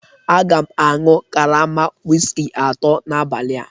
Aga m aṅụ karama whiskey atọ n'abalị a